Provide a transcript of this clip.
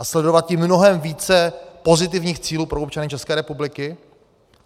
A sledovat tím mnohem více pozitivních cílů pro občany České republiky.